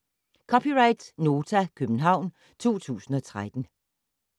(c) Nota, København 2013